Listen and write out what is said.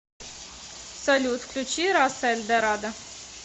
салют включи раса эльдорадо